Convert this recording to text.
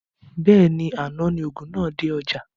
Bẹ́ẹ̀ni, àná ni òògùn náà dé ọjá